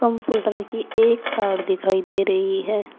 Portal की एक तार दिखाई दे रही है।